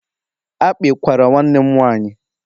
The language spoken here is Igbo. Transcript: akpị kwara nwanne m nwaanyị